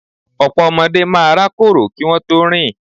Ọ̀pọ̀ ọmọdé máa rákòrò kí wón tó rìn.